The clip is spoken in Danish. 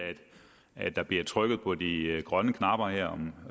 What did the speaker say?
at der bliver trykket på de grønne knapper her